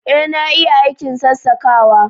Ee na iya aikin sassakawa